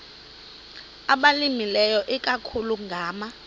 abalimileyo ikakhulu ngama